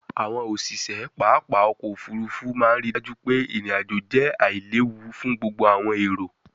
àwọn òṣiṣẹ pápá ọkọ̀-òfurufú máa ń rí i dájú pé irin-ajo jẹ́ aláìléwu fún gbogbo àwọn èrò.